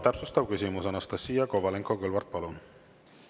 Täpsustav küsimus, Anastassia Kovalenko-Kõlvart, palun!